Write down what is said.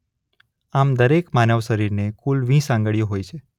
આમ દરેક માનવશરીરને કુલ વીસ આંગળીઓ હોય છે.